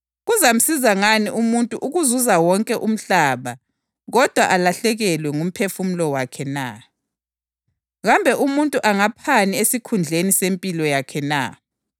Phela iNdodana yoMuntu izakuza ngobukhosi bukaYise kanye lezingilosi zakhe, ibisisipha umvuzo emuntwini munye ngamunye ngalokho akwenzileyo.